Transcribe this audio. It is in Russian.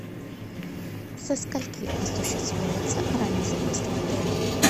со скольки осуществляется ранний заезд в отеле